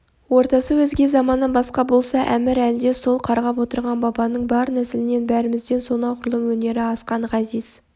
ортасы өзге заманы басқа болса әмір әлде сол қарғап отырған бабаның бар нәсілінен бәрімізден сонағұрлым өнері асқан ғазиз